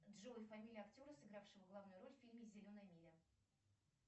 джой фамилия актера сыгравшего главную роль в фильме зеленая миля